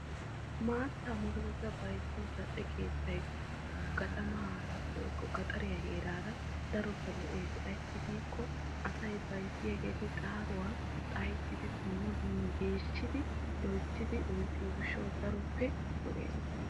Maataa murutatta bayzziyo keettay ambba woykko gandda heeran keehippe lo'ees ayssi giikko asay maataa buquratta loyttiddi oyqqiyo gishawu.